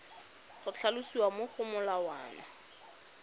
go tlhalosiwa mo go molawana